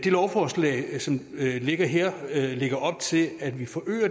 lovforslag som ligger her lægger op til at vi forøger